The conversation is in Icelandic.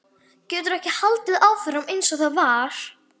Getur ekki haldið áfram einsog það var.